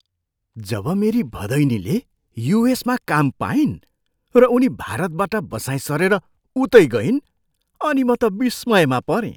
जब मेरी भदैनीले युएसमा काम पाइन् र उनी भारतबाट बसाइँ सरेर उतै गइन् अनि म त विस्मयमा परेँ।